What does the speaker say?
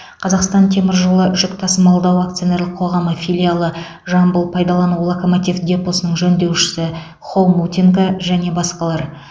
қазақстан темір жолы жүк тасымалдау акционерлік қоғамы филиалы жамбыл пайдалану локомотив депосының жөндеушісі хомутенко және басқалар